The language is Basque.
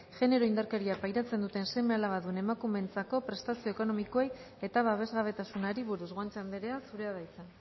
genero indarkeria pairatzen duten seme alabadun emakumeentzako prestazio ekonomikoei eta babesgabetasunari buruz guanche andrea zurea da hitza